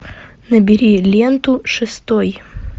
набери ленту шестой